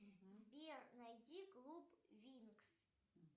сбер найди клуб винкс